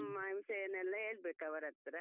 ಮನ್ಸೆನೆಲ್ಲಾ ಹೇಳ್ಬೇಕು ಅವರತ್ರ.